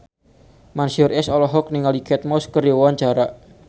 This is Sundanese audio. Mansyur S olohok ningali Kate Moss keur diwawancara